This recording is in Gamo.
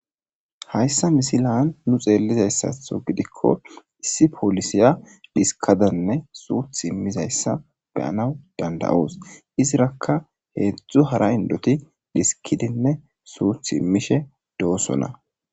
Hayssa misilan nu xeellizayssatho gidikko issi polisiya diskadanne suuth immizayssa beyanaw dandayoos izirakka heedzdzu hara indoti diskidinne suuth immishe doosona.